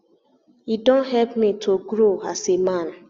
e don help me to do am to grow as a man